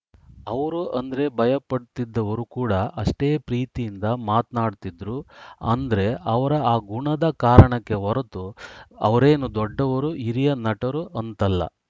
ಅವ್ರು ಅಂದ್ರೆ ಭಯ ಪಡುತ್ತಿದ್ದವರೂ ಕೂಡ ಅಷ್ಟೇ ಪ್ರೀತಿಯಿಂದ ಮಾತ್ನಾಡುತ್ತಿದ್ರು ಅಂದ್ರೆ ಅವರ ಆ ಗುಣದ ಕಾರಣಕ್ಕೆ ಹೊರತು ಅವರೇನೋ ದೊಡ್ಡವರು ಹಿರಿಯ ನಟರು ಅಂತಲ್ಲ